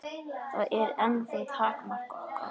Það er ennþá takmark okkar.